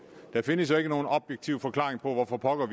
der findes jo ikke nogen objektiv forklaring på hvorfor pokker